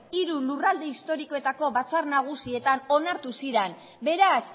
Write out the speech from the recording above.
hiru lurralde historikoetako batzar nagusietan onartu ziren beraz